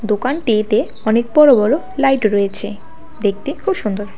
দোকানটিতে অনেক বড়ো বড়ো লাইট রয়েছে দেখতে খুব সুন্দর।